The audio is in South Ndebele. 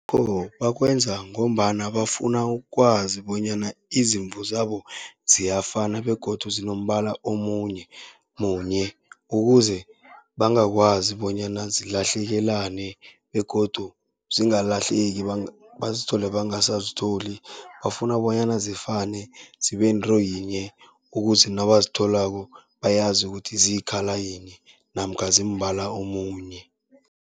bakwenza ngombana bafuna ukwazi bonyana izimvu zabo ziyafana begodu zinombala munye, ukuze bangakwazi bonyana zilahlekelane begodu zingalahleki bazithole bangasazitholi. Bafuna bonyana zifane zibe yinto yinye, ukuze nabazitholako bayazi ukuthi ziyi-colour yinye namkha zimbala omunye.